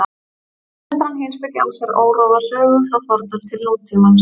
Vestræn heimspeki á sér órofa sögu frá fornöld til nútímans.